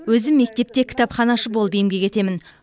өзім мектепте кітапханашы болып еңбек етемін